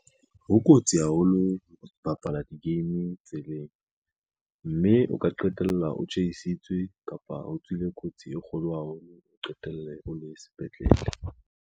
Ho kotsi haholo ho bapala di-game tseleng, mme o ka qetella o tjhaisitswe kapa o tswile kotsi e kgolo haholo, o qetelle o le sepetlele.